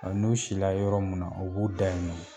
n'u si la yɔrɔ min na o b'u da yen nɔn